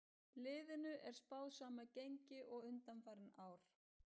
Liðinu er spáð sama gengi og undanfarin ár.